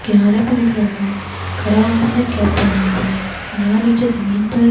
किनारे पर एक लड़का खड़ा हुए उसने कैप पेहना हुआ है यहाँ नीचे जमीन पर--